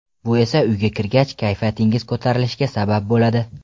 Bu esa uyga kirgach, kayfiyatingiz ko‘tarilishiga sabab bo‘ladi.